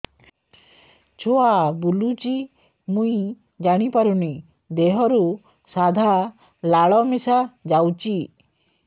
ଛୁଆ ବୁଲୁଚି ମୁଇ ଜାଣିପାରୁନି ଦେହରୁ ସାଧା ଲାଳ ମିଶା ଯାଉଚି